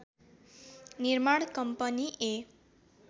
निर्माण कम्पनी ए